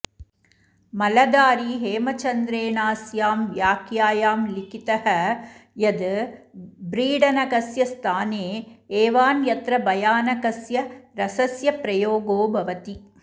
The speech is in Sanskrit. मलधारी हेमचन्द्रेणास्यां व्याख्यायां लिखितः यद् ब्रीडनकस्य स्थाने एवान्यत्र भयानकस्य रसस्य प्रयोगो भवति